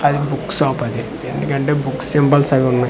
అది book shop అది ఎందుకంటే బుక్ సింబల్స్ అవి ఉన్నాయి.